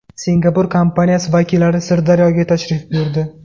Singapur kompaniyasi vakillari Sirdaryoga tashrif buyurdi.